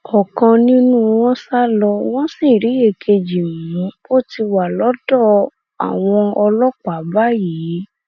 ọkan nínú wọn sà lọ wọn sì rí èkejì mú ó ti wà lọdọ àwọn ọlọpàá báyìí